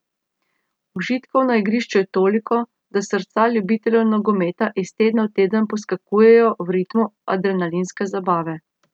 Užitkov na igrišču je toliko, da srca ljubiteljev nogometa iz tedna v teden poskakujejo v ritmu adrenalinske zabave.